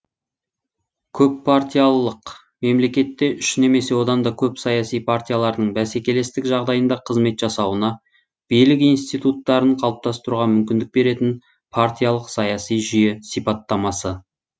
көппартиялылық мемлекетте үш немесе одан да көп саяси партиялардың бәсекелестік жағдайында қызмет жасауына билік институттарын қалыптастыруға мүмкіндік беретін партиялық саяси жүйе сипаттамасы